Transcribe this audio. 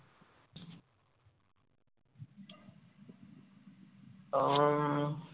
উম